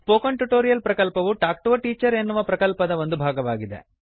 spoken tutorial ಪ್ರಕಲ್ಪವು talk to a teacher ಎನ್ನುವ ಪ್ರಕಲ್ಪದ ಒಂದು ಭಾಗವಾಗಿದೆ